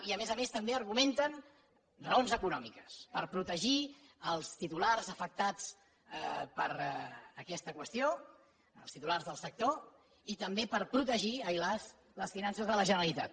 i a més a més també argumenten raons econòmiques per protegir els titulars afectats per aquesta qüestió els titulars del sector i també per protegir ai las les finances de la generalitat